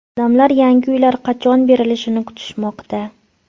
Odamlar yangi uylar qachon berilishini kutishmoqda.